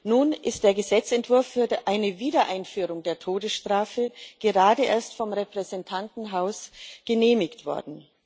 Nun ist der Gesetzentwurf für eine Wiedereinführung der Todesstrafe gerade erst vom Repräsentantenhaus genehmigt worden.